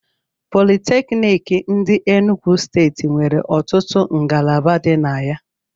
Politékiniki ndi Enugwu steeti nwere ọtụtụ ngalaba di na ya